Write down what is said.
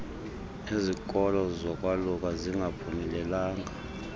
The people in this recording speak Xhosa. nezikolo zolwaluka zingaphumelelanga